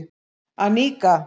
Annika